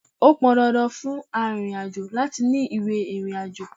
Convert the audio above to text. Ó pọn dandan fún arìnrìn-àjò láti ní ìwé ìrìnàjò.